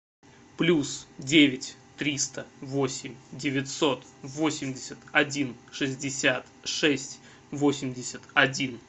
плюс девять триста восемь девятьсот восемьдесят один шестьдесят шесть восемьдесят один